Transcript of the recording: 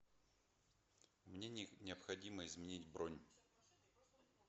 мне необходимо изменить бронь